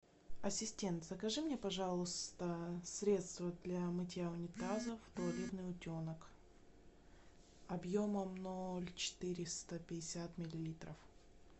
ассистент закажи мне пожалуйста средство для мытья унитазов туалетный утенок объемом ноль четыреста пятьдесят миллилитров